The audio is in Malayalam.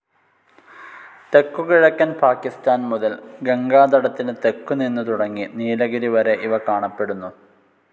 തെക്കുകിഴക്കൻ പാകിസ്താൻ മുതൽ ഗംഗാതടത്തിനു തെക്കു നിന്നു തുടങ്ങി നീലഗിരി വരെ ഇവ കാണപ്പെടുന്നു.